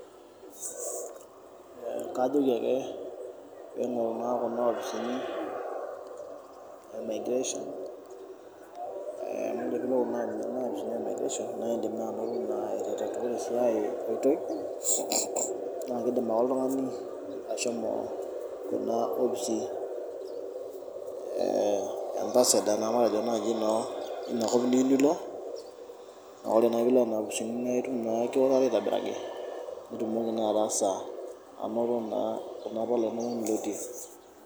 Kajoki ake ebunga Kuna opisin emigration amu edim ake ashomo Kuna opisini nitum embassador leina kop niyieu Niko nitum nkardasini enakop niyieu nilo